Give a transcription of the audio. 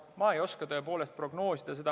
Ma ei oska tõepoolest seda prognoosida.